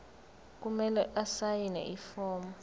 kumele asayine ifomu